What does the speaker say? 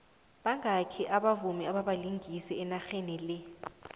bangaki obalingisi ababavumi enarhenile